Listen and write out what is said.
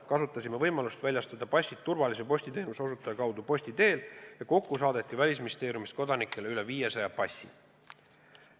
Kasutasime võimalust väljastada passid turvalise postiteenuse osutaja kaudu, kokku saadeti Välisministeeriumist kodanikele üle 500 passi.